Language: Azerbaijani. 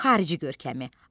Xarici görkəmi.